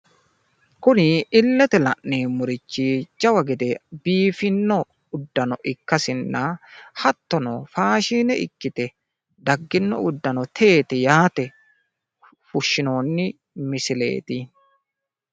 kuni illete la'neemmorichi jawa gede biifinno uddanonna ikkasinna hattono faashine ikkite daggino uddano teeti yaate fushshinoonni misileeti.